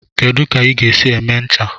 Kedu ka ị ga-esi eme ncha?